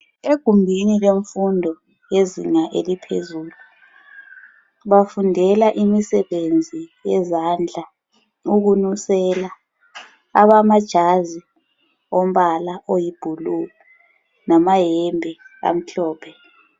Egumbini lemfundo yezinga eliphezulu bafundela imsebenzi yezandla ukunusela, abamajazi wombala oyibhulu lamayembe amhlophe.